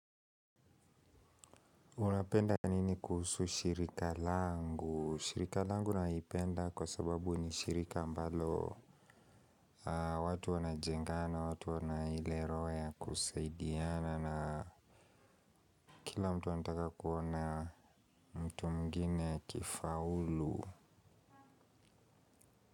Unapenda nini kuhusu shirika langu? Shirika langu naipenda kwa sababu ni shirika ambalo watu wana jengana, watu wana ile roho ya kusaidiana. Na kila mtu anataka kuona mtu mwingine akifaulu.